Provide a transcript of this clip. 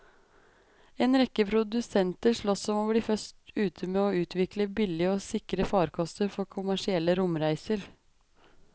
En rekke produsenter sloss om å bli først ute med å utvikle billige og sikre farkoster for kommersielle romreiser.